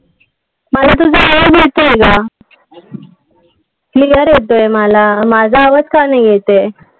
मला तुझा आवाज येतोय अग. Clear येतोय मला. माझा आवाज का नाही येताय?